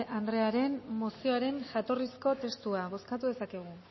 anderearen mozioaren jatorrizko testua bozkatu dezakegu